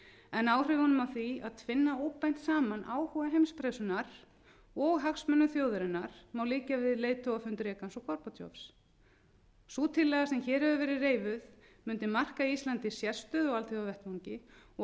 en áhrifunum af því að tvinna óbeint saman áhuga heimspressunnar og hagsmuni þjóðarinnar má líkja við leiðtogafund reagans og gorbatsjovs sú tillaga sem hér hefur verið reifuð mundi marka íslandi sérstöðu á alþjóðavettvangi og